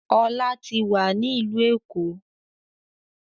Ọlá tí wá ní ìlú Èkó.